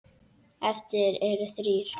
Eftir eru þrír.